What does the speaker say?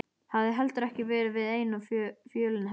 Hafði heldur ekki verið við eina fjölina felldur.